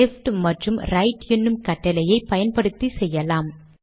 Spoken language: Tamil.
லெஃப்ட் மற்றும் ரைட் என்னும் கட்டளைகளை பயன்படுத்தி செய்யலாம்